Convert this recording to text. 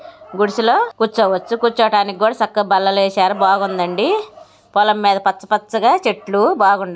గుడిసెలో కూర్చోవచ్చు. కూర్చోటానికి కూడా సక్కగా బల్లలేసారు బాగుందండి. పొలం మీద పచ్చ పచ్చగా చెట్లు బాగుండాయి.